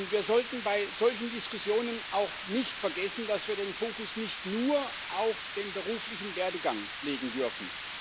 Wir sollten bei solchen Diskussionen auch nicht vergessen, dass wir den Fokus nicht nur auf den beruflichen Werdegang legen dürfen.